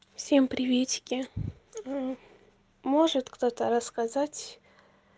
всем приветики ээ может кто-то рассказать